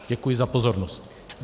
Děkuji za pozornost.